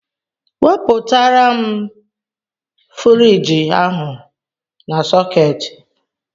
Wepụtara m furige ahụ n' sôôketi!!!!